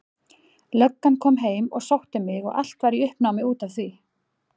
Löggan kom heim og sótti mig og allt var í uppnámi út af því.